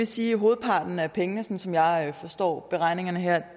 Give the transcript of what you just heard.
sige at hovedparten af pengene sådan som jeg forstår beregningerne her